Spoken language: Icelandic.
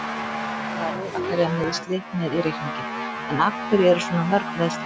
Það verður að telja meiðsli með í reikninginn, en af hverju eru svona mörg meiðsli?